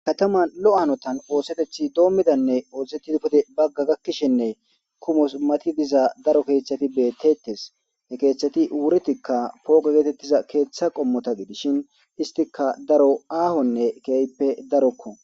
kataman lo'o hanotan oosetethi doommidanne oozettidi pude bagga gakkishenne kumos matidiza daro keeththati beettetes hekeeththati wuritikka pooga geetettiza keeththa qommota gidishin istika daro aahonne keeyppe darokko.